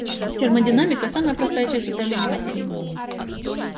термодинамика самая простая часть управления материей